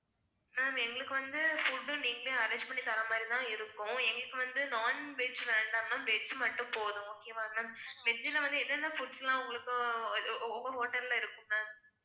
ma'am எங்களுக்கு வந்து food நீங்களே arrange பண்ணி தர்ற மாதிரிதான் இருக்கும் எங்களுக்கு வந்து non-veg வேண்டாம் ma'am veg மட்டும் போதும் okay வா ma'am veg ல வந்து என்னென்ன foods லாம் உங்களுக்கு உங்க hotel ல இருக்கும் ma'am